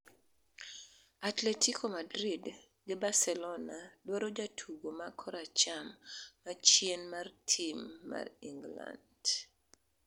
Atletico Madrid gi Barcelona dwaro jatugo ma koracham machien mar tim mar England